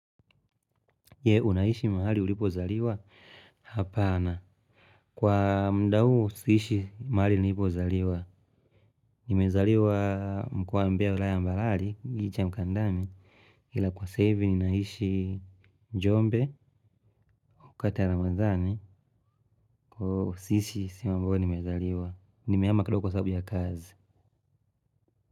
Je, unaishi mahali ulipozaliwa? Hapana, kwa muda huu siishi mahali nilipozaliwa. Nimezaliwa mkoa Mbea wilaya ya Mbalari kijiji cha Mkandami. Ila kwa sasa hivi naishi Jombe. Wakati ya ramadhani, kwa hiyo siishi sehemu ambayo nimezaliwa. Nimehama kidogo kwa sababu ya kazi.